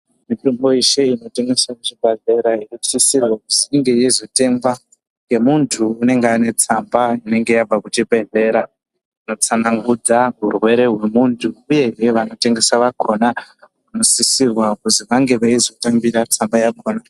Mitombo yeshe inotengeswe kuzvibhedhlera inosisirwa kuzi inge yeizotengwa ngemuntu unenge ane tsamba inenge yabva kuchibhedhlera inotsanangudza hurwere hwemunhu uyehe vanotengesa vakona vanosisirwa kuzi vange veizotambira tsamba yakona.